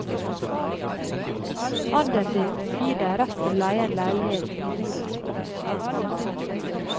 Andelen din gir deg rett til å leie en leilighet i borettslaget.